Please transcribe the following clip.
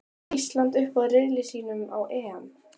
Fer Ísland upp úr riðli sínum á EM?